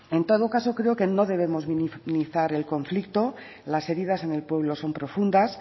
en todo caso creo que no debemos minimizar el conflicto las heridas en el pueblo son profundas